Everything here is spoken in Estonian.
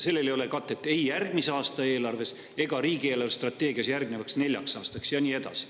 Sellele ei ole katet ei järgmise aasta eelarves ega riigi eelarvestrateegias järgnevaks neljaks aastaks ja nii edasi.